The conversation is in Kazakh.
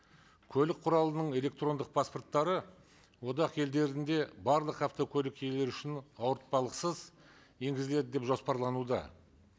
көлік құралының электрондық паспорттары одақ елдерінде барлық автокөлік иелері үшін ауыртпалықсыз енгізіледі деп жоспарлануда